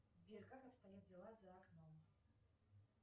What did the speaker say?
сбер как обстоят дела за окном